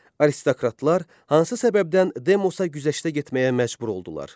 Aristokratlar hansı səbəbdən Demosa güzəştə getməyə məcbur oldular?